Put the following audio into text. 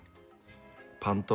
Pandóra